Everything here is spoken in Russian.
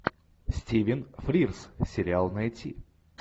стивен фрирз сериал найти